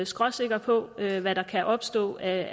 skråsikker på hvad der kan opstå af